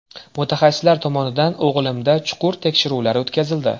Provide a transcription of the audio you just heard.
Mutaxassislar tomonidan o‘g‘limda chuqur tekshiruvlar o‘tkazildi.